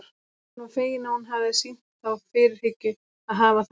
Hann var feginn að hún hafði sýnt þá fyrirhyggju að hafa þær með.